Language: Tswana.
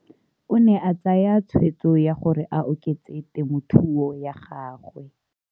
O ne a tsaya tshweetso ya gore a oketse temothuo ya gagwe.